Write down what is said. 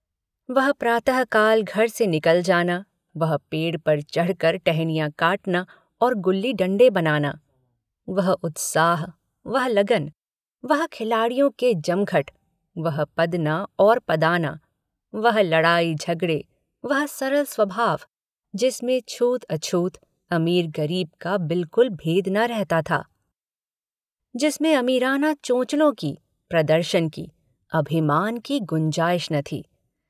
वह प्रातःकाल घर से निकल जाना, वह पेड़ पर चढ़कर टहनियाँ काटना और गुल्लीडण्डे बनाना, वह उत्साह, वह लगन, वह खिलाड़ियों के जमघटे, वह पदना और पदाना, वह लड़ाई, झगड़े, वह सरल स्वभाव जिसमें छूतअछूत, अमीरगरीब का बिलकुल भेद न रहता था, जिसमें अमीराना चोचलों की प्रदर्शन की अभिमान की गुंजाइश न थी